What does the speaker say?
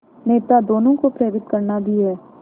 नेता दोनों को प्रेरित करना भी है